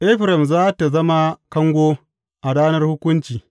Efraim za tă zama kango a ranar hukunci.